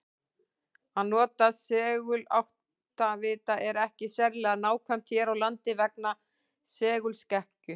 Að nota seguláttavita er ekki sérlega nákvæmt hér á landi vegna segulskekkju.